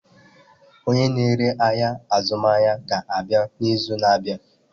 Onye na-ere ahịa azụmaahịa ga-abịa n'izu na-abịa.